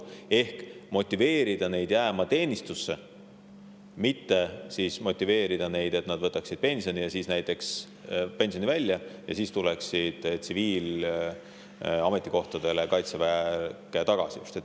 Tuleb motiveerida inimesi jääma teenistusse, mitte motiveerida neid, et nad võtaksid näiteks pensioni välja ja siis tuleksid Kaitseväkke tsiviilametikohtadele.